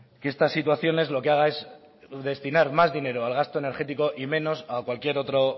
que estas situaciones lo que haga es destinar más dinero al gasto energético y menos a cualquier otro